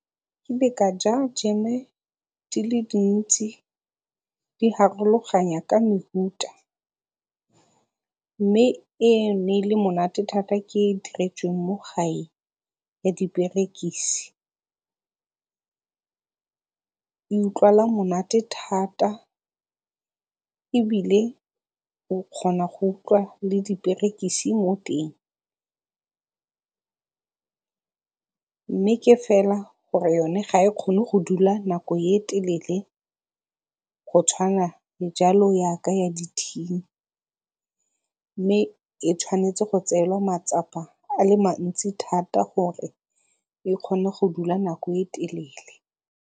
ka ja jeme di le dintsi di ka mehuta, mme e ne e le monate thata ke e e iteretsweng mo gae ya diperekisi. E utlwala monate thata ebile o kgona go utlwa le diperekise mo teng mme ke fela gore yone ga e kgone go dula nako e e telele go tshwana le jalo yaka ya di-tin-i mme e tshwanetse go tseelwa matsapa a le mantsi thata gore e kgone go dula nako e e telele.